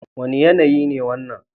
Wane yanayi ne wannan?